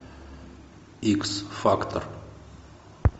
икс фактор